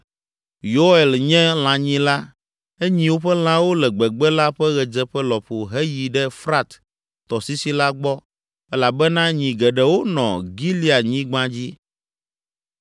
Yoel nye lãnyila; enyi woƒe lãwo le gbegbe la ƒe ɣedzeƒe lɔƒo heyi ɖe Frat tɔsisi la gbɔ elabena nyi geɖewo nɔ Gileadnyigba dzi.